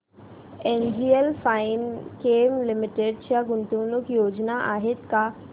NGL Finechem limited च्या गुंतवणूक योजना आहेत का